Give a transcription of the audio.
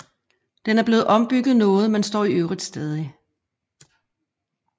Den er senere blevet ombygget noget men står i øvrigt stadig